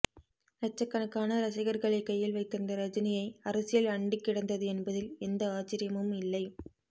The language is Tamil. லட்சக்கணக்கான ரசிகர்களை கையில் வைத்திருந்த ரஜினியை அரசியல் அண்டிக்கிடந்தது என்பதில் எந்த ஆச்சரியமுமில்லை